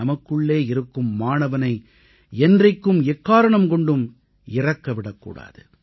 நமக்குள்ளே இருக்கும் மாணவனை என்றைக்கும் எக்காரணம் கொண்டும் இறக்க விடக்கூடாது